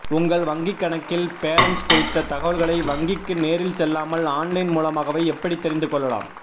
உங்கள் வங்கிக்கணக்கின் பேலன்ஸ் குறித்த தகவல்களை வங்கிக்கு நேரில் செல்லாமல் ஆன்லைன் மூலமாகவே எப்படி தெரிந்து கொள்ளலாம்